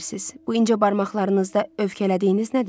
Bu incə barmaqlarınızda övkələdiyiniz nədir?